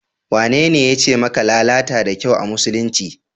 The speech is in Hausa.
Wanene yace maka lalata da kyau a musulunci?